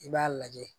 I b'a lajɛ